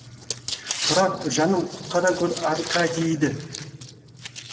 тұрар жаным құтқара гөр аркадийді